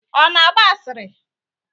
Ọ na-agba asịrị?